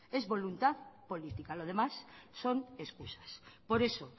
es voluntad política lo demás son excusas por eso